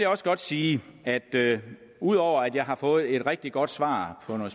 også godt sige at det ud over at jeg har fået et rigtig godt svar på